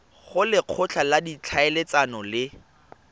go lekgotla la ditlhaeletsano le